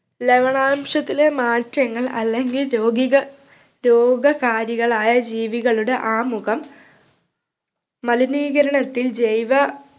ലവണാംശത്തിലെ മാറ്റങ്ങൾ അല്ലെങ്കിൽ രോഗികൾ രോഗകാരികളായ ജീവികളുടെ ആമുഖം മലിനീകരണത്തിൽ ജൈവ